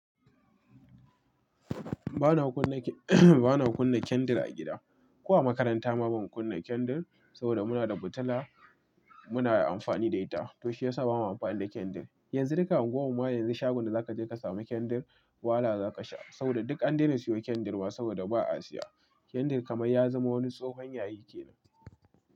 Ba na kunna ba na kunna candle a gida. Ko a makaranta ma ban kunna candle, saboda muna da futula muna yi amfani da ita. To shi ya sa ba ma amfani da candle. Yanzu duka unguwar mu yanzu shagon da za ka je ka samu candle wahala za ka sha saboda duk an dena siyo candle wa saboda ba a siya. Candle kamar ya zama wani tsohon yayi ke nan.